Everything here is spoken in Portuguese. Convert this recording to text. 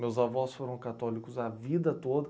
Meus avós foram católicos a vida toda.